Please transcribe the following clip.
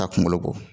Ka kunkolo bɔ